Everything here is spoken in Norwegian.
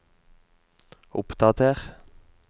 oppdater